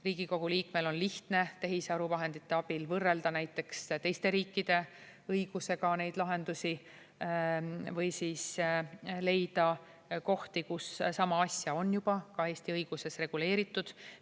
Riigikogu liikmel on lihtne tehisaru vahendite abil võrrelda näiteks teiste riikide õigusega neid lahendusi või siis leida kohti, kus sama asja on juba ka Eesti õiguses reguleeritud.